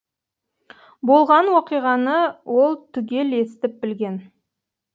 болған уақиғаны ол түгел естіп білген